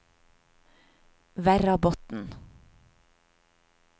Verrabotn